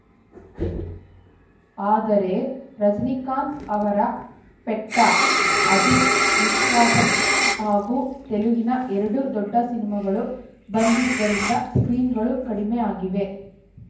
ಆದರೆ ರಜನಿಕಾಂತ್‌ ಅವರ ಪೆಟ್ಟ ಅಜಿತ್‌ ವಿಸ್ವಾಸಂ ಹಾಗೂ ತೆಲುಗಿನ ಎರಡು ದೊಡ್ಡ ಸಿನಿಮಾಗಳು ಬಂದಿದ್ದರಿಂದ ಸ್ಕ್ರೀನ್‌ಗಳು ಕಡಿಮೆ ಆಗಿವೆ